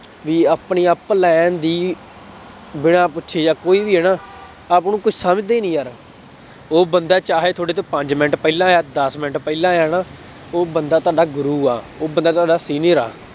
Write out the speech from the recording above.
ਵੀ ਆਪਣੀ ਦੀ ਬਿਨਾਂ ਪੁੱਛੇ ਜਾਂ ਕੋਈ ਵੀ ਹੈ ਨਾ ਸਮਝਦੇ ਨੀ ਯਾਰ, ਉਹ ਬੰਦਾ ਚਾਹੇ ਤੁਹਾਡੇ ਤੋਂ ਪੰਜ ਮਿੰਟ ਪਹਿਲਾਂ ਆਇਆ ਦਸ ਮਿੰਟ ਪਹਿਲਾਂ ਆਇਆ ਨਾ ਉਹ ਬੰਦਾ ਤੁਹਾਡਾ ਗੁਰੂ ਆ ਉਹ ਬੰਦਾ ਤੁਹਾਡਾ senior ਆ।